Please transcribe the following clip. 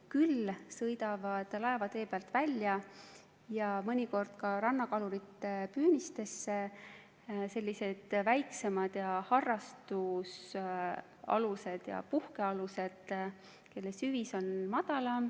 Küll sõidavad laevatee pealt välja ja mõnikord ka rannakalurite püünistesse väiksemad harrastusalused ja puhkealused, kelle süvis on madalam.